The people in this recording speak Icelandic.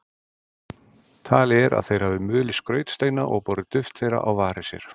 Talið er að þeir hafi mulið skrautsteina og borið duft þeirra á varir sér.